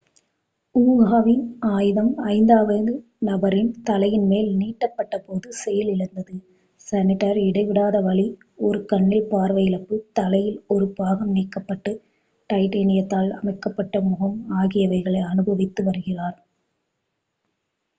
ஊகாவின் ஆயுதம் ஐந்தாவது நபரின் தலையின் மேல் நீட்டப்பட்ட போது செயலிழந்தது ஷ்னைடர் இடைவிடாத வலி ஒரு கண்ணில் பார்வை இழப்பு தலையில் ஒரு பாகம் நீக்கப்பட்டு டைட்டேனியத்தால் அமைக்கப்பட்ட முகம் ஆகியவைகளை அனுபவித்து வருகிறார்